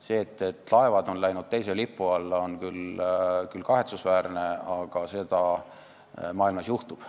See, et laevad on läinud teise riigi lipu alla, on küll kahetsusväärne, aga seda maailmas juhtub.